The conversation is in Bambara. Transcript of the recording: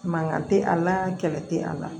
Mankan tɛ a la kɛlɛ tɛ a la